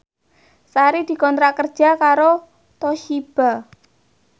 Sari dikontrak kerja karo Toshiba